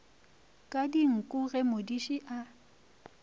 ka dinku ge modiši a